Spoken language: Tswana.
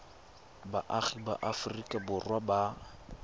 baagi ba aforika borwa ba